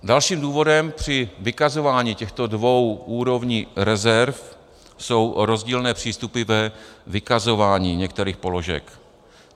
Dalším důvodem při vykazování těchto dvou úrovní rezerv jsou rozdílné přístupy ve vykazování některých položek.